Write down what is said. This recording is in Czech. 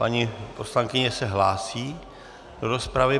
Paní poslankyně se hlásí do rozpravy.